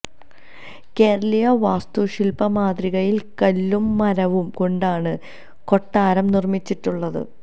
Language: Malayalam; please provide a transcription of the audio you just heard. കേരളീയ വാസ്തുശില്പ മാതൃകയിൽ കല്ലും മരവും കൊണ്ടാണ് കൊട്ടാരം നിർമിച്ചിട്ടുള്ളത്